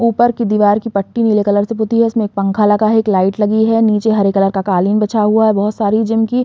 ऊपर की दीवार की पट्टी नीले कलर से पुती है। इसमें एक पंखा लगा है। एक लाइट लगी है। नीचे हरे कलर का कालीन बिछा हुआ है। बहोत सारी जिम की --